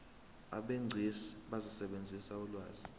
abegcis bazosebenzisa ulwazi